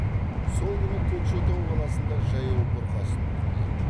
сол күні көкшетау қаласында жаяу бұрқасын күтіледі